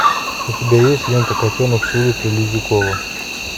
у тебя есть лента котенок с улицы лизюкова